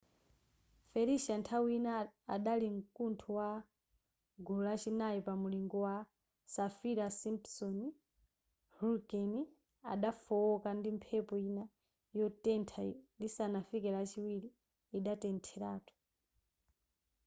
felicia nthawi ina adali mkuntho wa gulu la chinayi pa mulingo wa saffir-simpson hurricane adafooka ndi mphepo ina yotentha lisanafike lachiwiri idatheratu